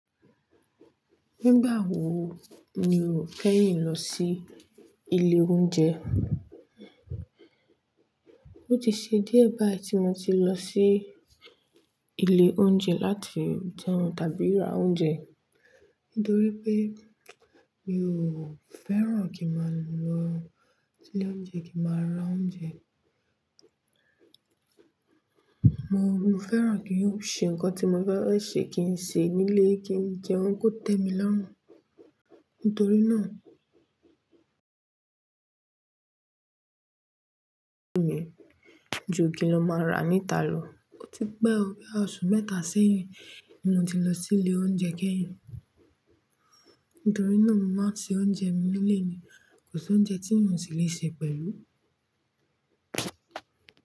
Nígbà wo ni o keyin lọ sí ilé oúnjẹ? Ó ti ṣe díẹ̀ báyìí tí mo ti lọ sí ilé oúnjẹ láti jẹun tàbí ra oúnjẹ, nítorí pé mi ò fẹ́ràn kí má lọ ilé oúnjẹ kí má ra oúnjẹ. Mo, mo fẹ́ràn kí n ṣe nǹkan tí mo fẹ́ràn ṣe kí n ṣe nílé, kí n jẹun kó tẹ́ mi lọ́run. Nítorí náà, ju igi lọ máa rà níta lò. O ti pé ọ, bí i oṣù mẹ́ta sẹ́yìn ni mo ti lọ sí ilé oúnjẹ kẹ́yìn. Nítorí náà, mo máa ń ṣe oúnjẹ mi nílé ni. Kò sí oúnjẹ tí n ò ti lè ṣe pẹ̀lú.